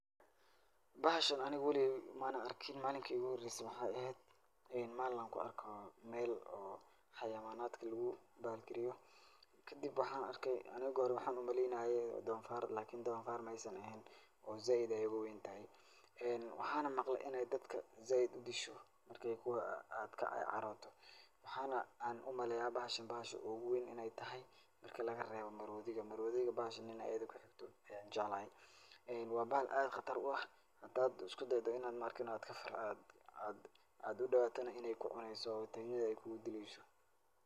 Bahashan aniga weligay maana arkin. Maalinkii iigu horaysay waxaa eheed maalin aan ku arko meel oo xayawaanadka lugu bahalkeeyo. Kadib waxaan arkay aniga waxaan u maleynaayay doonfaar lakini doonfar maysan eheen oo zaaid ayaay uga weyntahay. Waxaana maqlay in ay dadka zaaid u disho marka aad ka carato. Waxaana aan u maleeyaa bahashan bahasha ugu weyn in ay tahay marka laga reebo maroodiga. Maroodiga bahashan in ayida ku xiikto ayaan jeclahay. Waa bahal aad khatar u ah. Hadaad usku daydo in aad aad aad u dhowaatana, in ay ku cunayso oo tagnida ay ku gu dilayso.